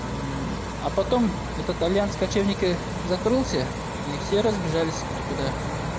а потом этот альянс кочевники закрылся и все разбежались кто куда